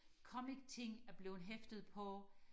comic ting er blevet hæftet på